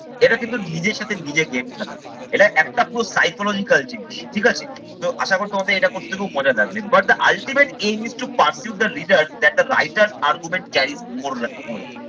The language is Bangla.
এটা কিন্তু নিজের সাথে নিজে game খেলা। এটা একটা পুরো psychological জিনিস ঠিক আছে। তো আশা করি তোমাদের এটা করতে খুব মজা লাগবে but the ultimate aim is to pursue the reader that the writer argument